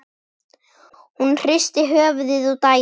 Hún hristir höfuðið og dæsir.